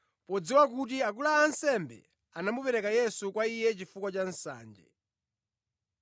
podziwa kuti akulu a ansembe anamupereka Yesu kwa iye chifukwa cha nsanje.